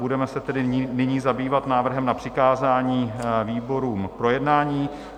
Budeme se tedy nyní zabývat návrhem na přikázání výborům k projednání.